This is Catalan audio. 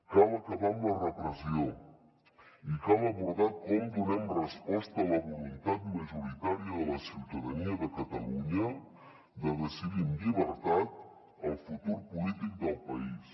cal acabar amb la repressió i cal abordar com donem resposta a la voluntat majoritària de la ciutadania de catalunya de decidir amb llibertat el futur polític del país